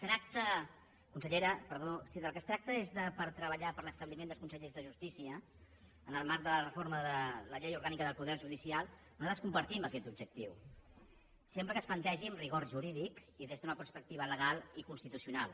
consellera si del que es tracta és de treballar per l’establiment dels consells de justícia en el marc de la reforma de la llei orgànica del poder judicial nosaltres compartim aquest objectiu sempre que es plantegi amb rigor jurídic i des d’una perspectiva legal i constitucional